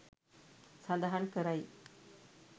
සඳහන් කරයි.